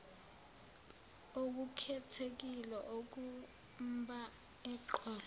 okukhethekile okumba eqolo